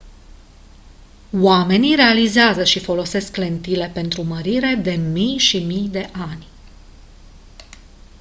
omenii realizează și folosesc lentile pentru mărire de mii și mii de ani